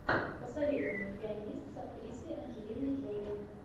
посоветуй мне пианист с актрисой анджелиной джоли